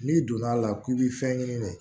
N'i donn'a la k'i bi fɛn ɲini de